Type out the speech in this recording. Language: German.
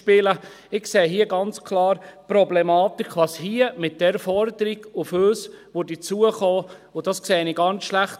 Ich sehe hier ganz klar die Problematik, was hier mit dieser Forderung auf uns zukommen würde, und das sehe ich ganz schlecht.